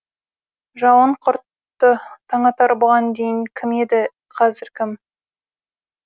жауын құрты таңатар бұған дейін кім еді қазір кім